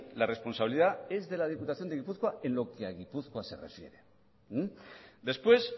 la responsabilidad es de la diputación de gipuzkoa en lo que a gipuzkoa se refiere después